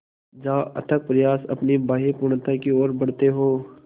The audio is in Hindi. जहाँ अथक प्रयास अपनी बाहें पूर्णता की ओर बढातें हो